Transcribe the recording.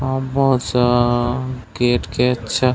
अ बहोत सा केट के अच्छा--